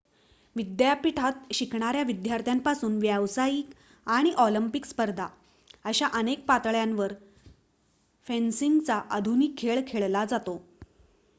विद्यापीठात शिकणाऱ्या विद्यार्थ्यांपासून व्यावसायिक आणि ऑलिम्पिक स्पर्धा अशा अनेक पातळ्यांवर फेन्सिंगचा आधुनिक खेळ खेळला जातो